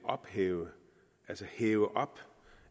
hæve hæve